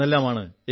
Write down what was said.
എന്നെല്ലാമാണ്